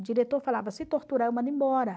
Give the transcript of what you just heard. O diretor falava, se torturar, eu mando embora.